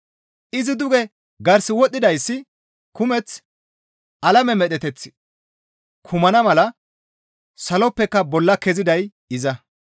Izi duge garse wodhdhidayssi kumeth alame medheteth kumana mala saloppeka bolla keziday iza.